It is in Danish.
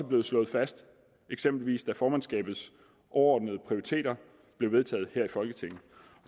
blevet slået fast eksempelvis da formandskabets overordnede prioriteter blev vedtaget her i folketinget